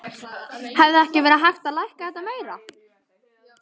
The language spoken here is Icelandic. Hefði ekki verið hægt að lækka þetta meira?